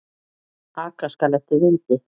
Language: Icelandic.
Aka skal eftir vindi.